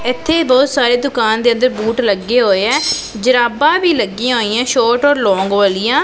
ਇੱਥੇ ਬਹੁਤ ਸਾਰੇ ਦੁਕਾਨ ਦੇ ਅੰਦਰ ਬੂਟ ਲੱਗੇ ਹੋਏ ਐ ਜਰਾਬਾ ਵੀ ਲੱਗੀਆਂ ਹੋਈਆਂ ਸ਼ੋਟ ਔਰ ਲੋਂਗ ਵਾਲੀਆਂ।